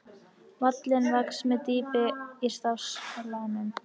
Hallinn vex með dýpi í staflanum.